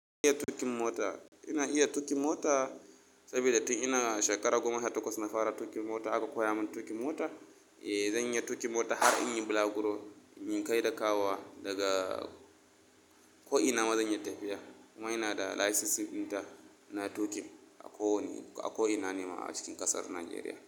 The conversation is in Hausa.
Iya tuƙin mota. Ina iya tuƙi mota saboda tun ina shekara goma ha takwas na fara tuƙin mota aka koya min tuƙi mota. Eh, zan iya tuƙin mota har in yi bulaguro, in yi kai da kawowa daga ko'ina ma zan iya tafiya. Kuma ina da license ɗinta na tuƙi a ko wani-- a ko'ina ne ma a cikin ƙasar Najeriya.